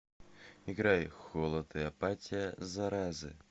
играй холод и апатия заразы